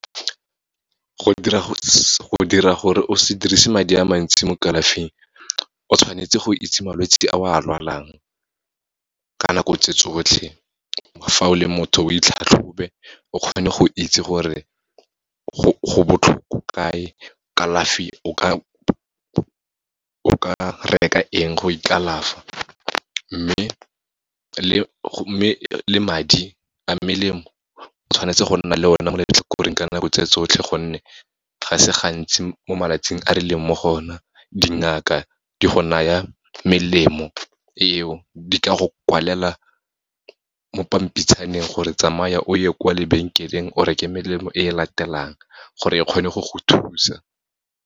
Go dira gore o se dirise madi a mantsi mo kalafing, o tshwanetse go itse malwetse a o a lwalang, ka nako tse tsotlhe. Fa o le motho, o itlhatlhobe, o kgone go itse gore go botlhoko kae, kalafi o ka reka eng, go ikalafa. Mme, le madi a melemo, o tshwanetse go nna le one mo letlhakoreng ka nako tse tsotlhe, gonne ga se gantsi mo malatsing a re leng mo go ona, dingaka di go naya melemo eo, di ka go kwalela mo pampitshaneng gore tsamaya o ye kwa lebenkeleng, o reke melemo e e latelang, gore e kgone go go thusa.